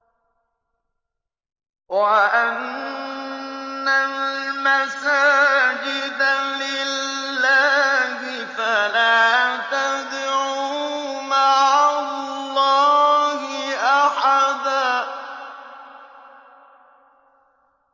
وَأَنَّ الْمَسَاجِدَ لِلَّهِ فَلَا تَدْعُوا مَعَ اللَّهِ أَحَدًا